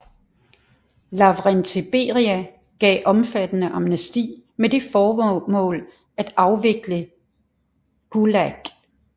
Lavrenti Beria gav omfattende amnesti med det formål at afvikle GULAG